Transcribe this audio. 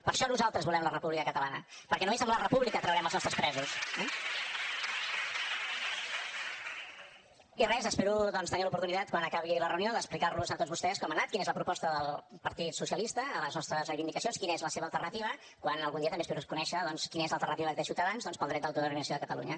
per això nosaltres volem la república catalana perquè només amb la república traurem els nostres presos eh i res espero doncs tenir l’oportunitat quan acabi la reunió d’explicar los a tots vostès com ha anat quina és la proposta del partit socialista a les nostres reivindicacions quina és la seva alternativa quan algun dia també espero conèixer doncs quina és l’alternativa que té ciutadans per al dret d’autodeterminació de catalunya